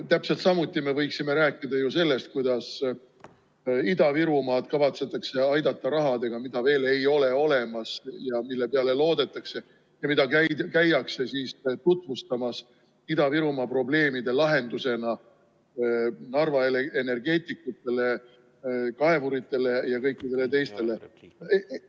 Täpselt samuti me võiksime rääkida sellest, kuidas Ida-Virumaad kavatsetakse aidata rahaga, mida veel ei ole olemaski ja mille peale loodetakse ja mida käiakse tutvustamas Ida-Virumaa probleemide lahendusena Narva energeetikutele, kaevuritele ja kõikidele teistele.